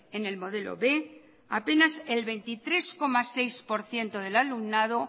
en el modelo b apenas el veintitrés coma seis por ciento del alumnado